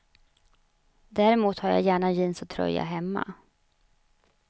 Däremot har jag gärna jeans och tröja hemma.